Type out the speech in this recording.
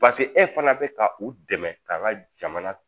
pase e fana bɛ ka u dɛmɛ ka jamana